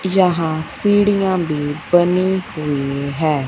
यहां सीढ़ियां भी बनी हुई है।